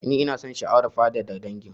Ni ina da sha'awar faɗaɗa dangin